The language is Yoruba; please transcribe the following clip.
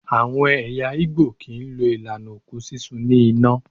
Àwọn ẹ̀yà Igbo kì í lo ìlànà òkú sísun ní iná.